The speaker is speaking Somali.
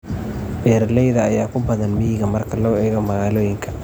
Beeralayda ayaa ku badan miyiga marka loo eego magaaloyinka.